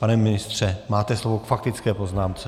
Pane ministře, máte slovo k faktické poznámce.